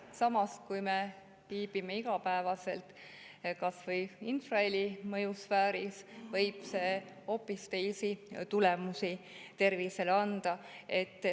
Samas, kui me viibime igapäevaselt kas või infraheli mõjusfääris, võib see tervisele hoopis teisi anda.